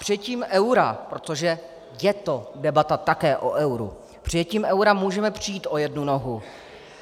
Přijetím eura, protože je to debata také o euru, přijetím eura můžeme přijít o jednu nohu.